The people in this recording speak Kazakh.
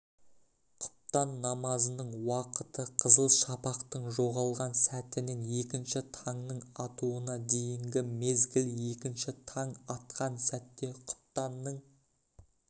құптан намазының уақытықызыл шапақтың жоғалған сәтінен екінші таңның атуына дейінгі мезгіл екінші таң атқан сәтте құптанның